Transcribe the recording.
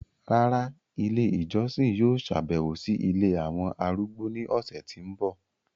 Rárá, ìlé ijọsin yóò ṣabẹwo si ìlé awọn arúgbó ni ọsẹ ti n bọ